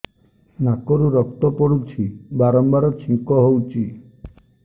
ନାକରୁ ରକ୍ତ ପଡୁଛି ବାରମ୍ବାର ଛିଙ୍କ ହଉଚି